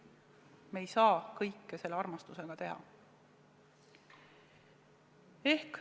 Me ei saa selle armastuse juures päris kõike teha.